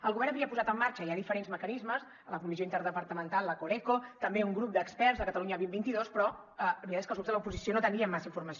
el govern havia posat en marxa ja diferents mecanismes a la comissió interdepartamental la coreco també un grup d’experts el catalunya dos mil vint dos però la veritat és que els grups de l’oposició no en teníem massa informació